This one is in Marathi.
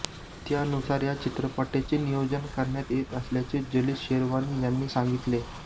त्यानुसार या चित्रपटाचे नियोजन करण्यात येत असल्याचे जलीस शेरवानी यांनी सांगितले